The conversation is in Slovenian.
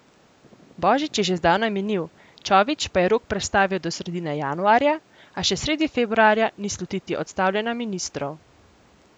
Božič je že zdavnaj minil, Čović pa je rok prestavil do sredine januarja, a še sredi februarja ni slutiti odstavljanja ministrov.